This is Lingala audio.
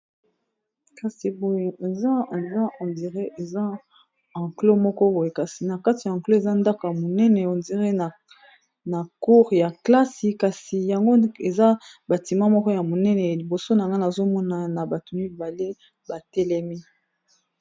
kasi boy za eza hondiré eza anclo moko boye kasi na kati ya anclo eza ndako ya monene hondiré na cour ya klasi kasi yango eza bantima moko ya monene a liboso na ngani azomona na bato mibale batelemi